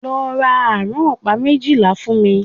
Lọ ra àrán ọ̀pá méjìlá fún mí!